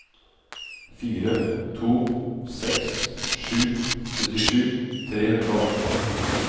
fire to seks sju syttisju tre hundre og atten